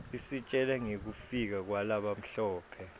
isitjela ngekufika kwalabamhlope